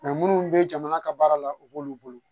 minnu bɛ jamana ka baara la u b'olu bolo